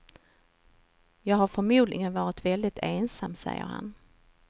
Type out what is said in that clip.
Jag hade förmodligen varit väldigt ensam, säger han.